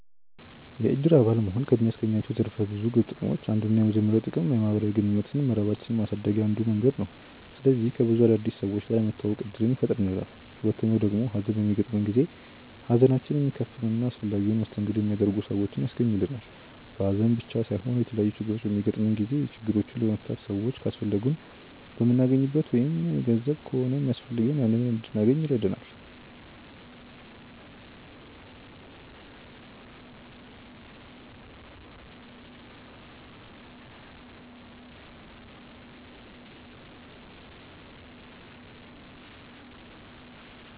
የእድር አባል መሆን ከሚያስገኛቸው ዘርፈ ብዙ ጥቅሞች አንዱና የመጀመሪያው ጥቅም የማህበራዊ ግንኙነት መረባችንን ማሳደግያ አንዱ መንገድ ነው። ስለዚህ ከብዙ አዳዲስ ሰዎች ጋር የመተዋወቅ እድልን ይፈጥርልናል። ሁለተኛው ደግሞ ሀዘን በሚገጥመን ጊዜ ሀዘናችንን የሚካፈሉ እና አስፈላጊውን መስተንግዶ የሚያደርጉ ሰዎችን ያስገኝልናል። በሀዘን ብቻም ሳይሆን የተለያዩ ችግሮች በሚገጥሙን ጊዜ ችግሮቹን ለመፍታት ሰዎች ካስፈለጉን የምናገኝበት ወይም ገንዘብ ከሆነ ሚያስፈልገን ያንን እንድናገኝ ይረዳናል።